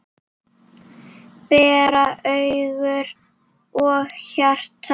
bera hugur og hjarta